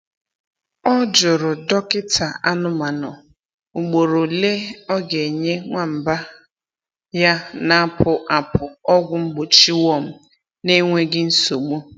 Ọ jụrụ dọkịta anụmanụ ugboro ole ọ ga-enye nwamba ya na-apụ apụ ọgwụ mgbochi worm n’enweghị nsogbu.